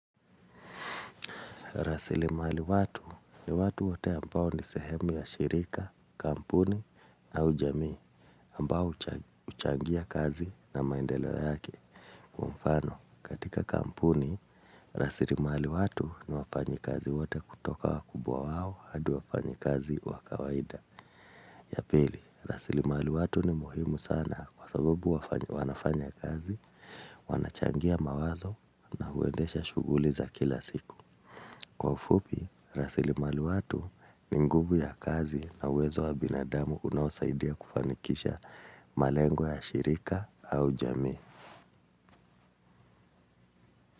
Rasilimali watu ni watu wote ambao ni sehemu ya shirika, kampuni au jamii ambao huchangia kazi na maendeleo yake kwa mfano. Katika kampuni, rasilimali watu ni wafanyikazi wote kutoka wakubwa wao hadi wafanyikazi wa kawaida. Ya pili, rasilimali watu ni muhimu sana kwa sababu wanafanya kazi, wanachangia mawazo na huendesha shuguli za kila siku. Kwa ufupi, rasilimali watu ni nguvu ya kazi na uwezo wa binadamu unaosaidia kufanikisha malengo ya shirika au jamii.